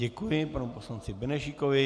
Děkuji panu poslanci Benešíkovi.